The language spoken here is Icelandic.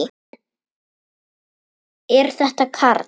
Er þetta Karl?